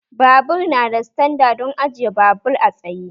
Babur nada standa don ajiye babur a tsaye